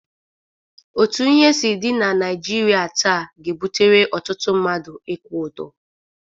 Otu ihe si dị na Naịjirịa taa ga-ebutere ọtụtụ mmadụ ịkwụ ụdọ.